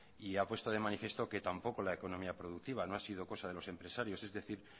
y ha puesto de manifiesto que tampoco la economía productiva no ha sido cosa de los empresarios es decir